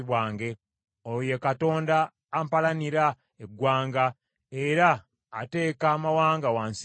Oyo ye Katonda ampalanira eggwanga, era ateeka amawanga wansi wange;